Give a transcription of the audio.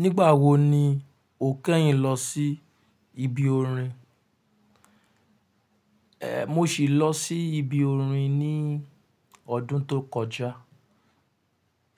Nígbà wo ni o kẹ́yìn lọ sí ibi orin? Ehn, mo sì lọ sí ibi orin ní ọdún tó kọjá.